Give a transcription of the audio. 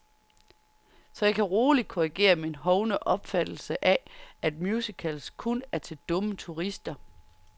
Så jeg kan roligt korrigere min hovne opfattelse af, at musicals kun er til dumme turister.